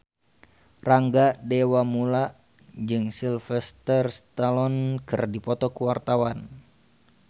Rangga Dewamoela jeung Sylvester Stallone keur dipoto ku wartawan